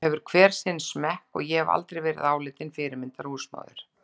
Það hefur hver sinn smekk og ég hef aldrei verið álitin fyrirmyndar húsmóðir.